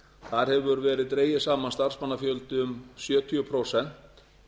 þar hefur verið dreginn saman starfsmannafjöldi um sjötíu prósent